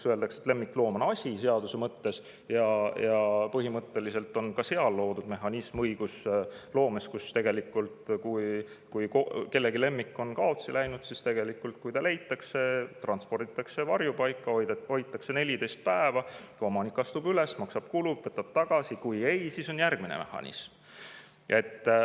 Öeldakse, et lemmikloom on seaduse mõttes asi, ja põhimõtteliselt on ka seal loodud mehhanism õigusloomes, et kui kellegi lemmik on kaotsi läinud, siis kui ta leitakse, transporditakse varjupaika, hoitakse 14 päeva, omanik astub üles, maksab kulud, võtab looma tagasi, aga, siis on järgmine mehhanism.